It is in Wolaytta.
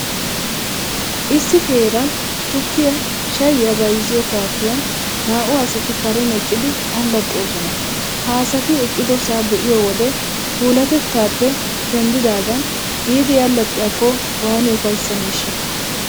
Issi heeran tukkiyaa shayyiyaa bayzziyoo kaafiyan naa''u asati karen eqqidi allaxxoosana. Ha asati eqqidosaa be'iyo wode puulaatettaappe denddidaagan biidi allaxxiyaakko waani ufayssaneeshshaa!!